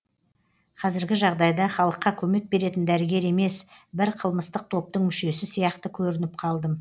қазіргі жағдайда халыққа көмек беретін дәрігер емес бір қылмыстық топтың мүшесі сияқты көрініп қалдым